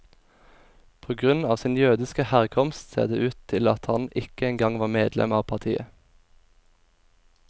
På grunn av sin jødiske herkomst ser det ut til at han ikke engang var medlem av partiet.